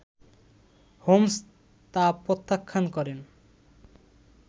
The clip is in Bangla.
হোমস তা প্রত্যাখান করেন